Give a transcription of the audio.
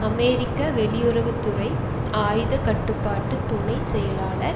அமெரிக்க வெளியுறவு துறை ஆயுத கட்டுப்பாட்டு துணை செயலாளர்